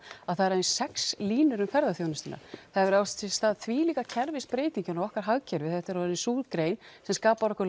voru aðeins sex línur um ferðaþjónustuna það hafa átt sér stað þvílíkar kerfisbreytingar í okkar hagkerfi þetta er orðin sú grein sem skapar okkur